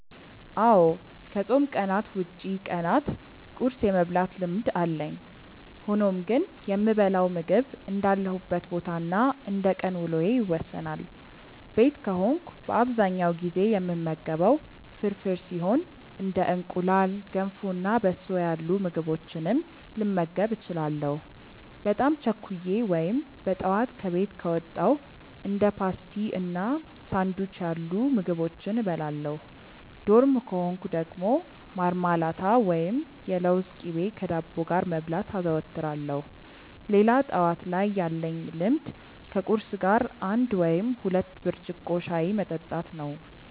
አዎ ከፆም ቀናት ውጪ ቀናት ቁርስ የመብላት ልምድ አለኝ። ሆኖም ግን የምበላው ምግብ እንዳለሁበት ቦታ እና እንደቀን ውሎዬ ይወሰናል። ቤት ከሆንኩ በአብዛኛው ጊዜ የምመገበው ፍርፍር ሲሆን እንደ እንቁላል፣ ገንፎ እና በሶ ያሉ ምግቦችንም ልመገብ እችላለሁ። በጣም ቸኩዬ ወይም በጠዋት ከቤት ከወጣው እንደ ፓስቲ እና ሳንዱች ያሉ ምግቦችን እበላለሁ። ዶርም ከሆንኩ ደግሞ ማርማላት ወይም የለውዝ ቅቤ ከዳቦ ጋር መብላት አዘወትራለሁ። ሌላ ጠዋት ላይ ያለኝ ልምድ ከቁርስ ጋር አንድ ወይም ሁለት ብርጭቆ ሻይ መጠጣት ነው።